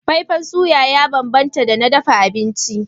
Faifan suya ya bambanta da na dafa abinci.